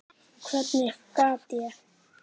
Hvernig gat ég.